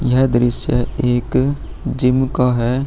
यह दृश्य एक जिम का है |